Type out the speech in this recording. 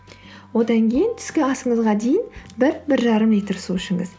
одан кейін түскі асыңызға дейін бір бір жарым литр су ішіңіз